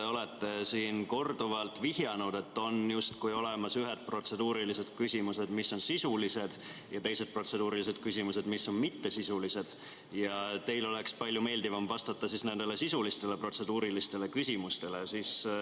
Te olete siin korduvalt vihjanud, et on justkui olemas ühed protseduurilised küsimused, mis on sisulised, ja teised protseduurilised küsimused, mis on mittesisulised, ja teil oleks palju meeldivam vastata nendele sisulistele protseduurilistele küsimustele.